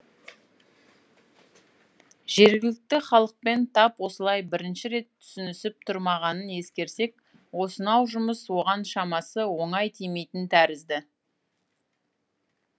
жергілікті халықпен тап осылай бірінші рет түсінісіп тұрмағанын ескерсек осынау жұмыс оған шамасы оңай тимейтін тәрізді